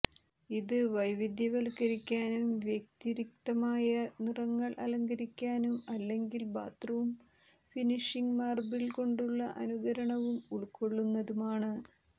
ഇത് വൈവിധ്യവത്കരിക്കാനും വ്യതിരിക്തമായ നിറങ്ങൾ അലങ്കരിക്കാനും അല്ലെങ്കിൽ ബാത്ത്റൂം ഫിനിഷിംഗ് മാർബിൾ കൊണ്ടുള്ള അനുകരണവും ഉൾകൊള്ളുന്നതുമാണ്